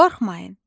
Qorxmayın.